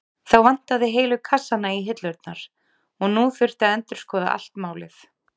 Þá vantaði heilu kassana í hillurnar og nú þurfti að endurskoða allt málið.